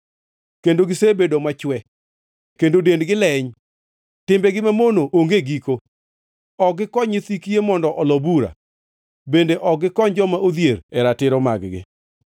kendo gisebedo machwe kendo dendgi leny. Timbegi mamono onge giko; ok gikony nyithi kiye mondo olo bura, bende ok gikony joma odhier e ratiro mag-gi,